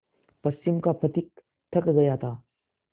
पश्चिम का पथिक थक गया था